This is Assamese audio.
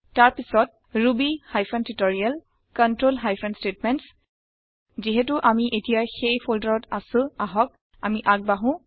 তাৰ পাছত Ruby hyphen tutorial control hyphen statements যিহেটো আমি এতিয়া সেই ফল্ডাৰত আছো আহক আমি আগ বাঢ়ো